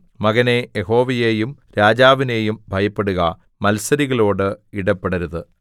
മകനേ യഹോവയെയും രാജാവിനെയും ഭയപ്പെടുക മത്സരികളോട് ഇടപെടരുത്